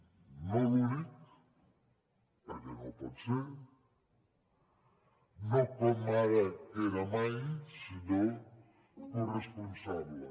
no l’únic perquè no ho pot ser no com ara que era mai sinó corresponsable